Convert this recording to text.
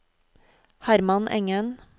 Herman Engen